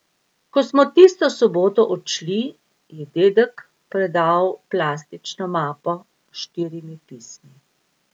Ko smo tisto soboto odšli, je dedek predal plastično mapo s štirimi pismi.